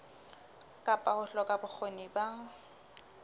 kapa ho hloka bokgoni ba